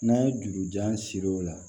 N'an ye jurujan siri o la